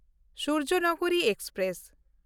Suryanagri express